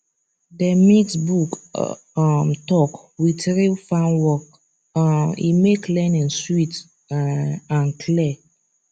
dem mix book um talk with real farm work um e make learning sweet um and clear